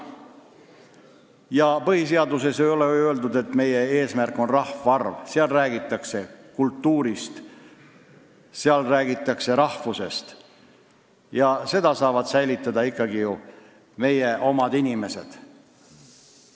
Ja põhiseaduses ei ole ju öeldud, et meie eesmärk on kindel rahvaarv – seal räägitakse kultuurist ja rahvusest, mida saavad säilitada ikkagi meie oma inimesed.